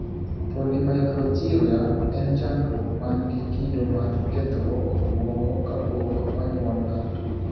Polymicrogyria en chandruok man gi kido mar kethruok obuongo kapok onyuol ng'ato.